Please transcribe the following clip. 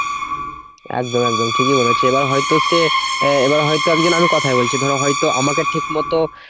একদম একদম ঠিকই বলেছো। এবার হয়তো সে আহ এবার হয়ত আমি কোথায় বলছি ধরো হয়তো আমাকে ঠিক মতো